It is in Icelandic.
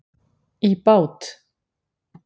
í bát.